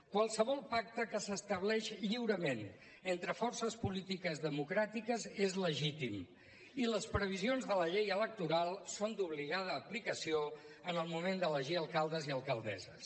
qualsevol pacte que s’estableix lliurement entre forces polítiques democràtiques és legítim i les previsions de la llei electoral són d’obligada aplicació en el moment d’elegir alcaldes i alcaldesses